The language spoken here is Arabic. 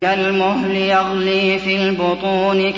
كَالْمُهْلِ يَغْلِي فِي الْبُطُونِ